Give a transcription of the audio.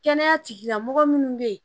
Kɛnɛya tigila mɔgɔ minnu bɛ yen